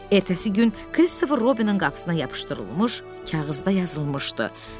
Ertəsi gün Kristofer Robinin qapısına yapışdırılmış kağızda yazılmışdı: